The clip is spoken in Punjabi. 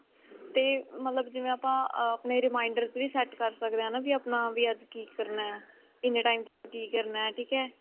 ਤੇ ਮਤਲਬ ਜਿਵੇਂ ਆਪਾਂ ਆਪਣੇ reminders ਵੀ set ਕਰ ਸਕਦੇ ਹਾਂ ਵੀ ਆਪਣਾ ਵੀ ਅੱਜ ਕੀ ਕਰਨਾ ਇੰਨੇ time ਚ ਕੀ ਕਰਨਾ ਠੀਕ ਹੈ